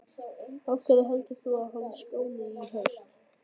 Af hverju heldur þú að hún skáni í haust?